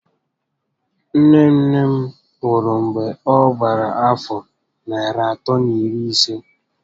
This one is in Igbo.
Nne nne m nwụ̀rụ̀ mgbè ọ gbàrà àfọ́ narị àtọ́ na iri isé